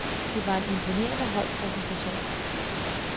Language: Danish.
Det var en imponerende holdpræstation.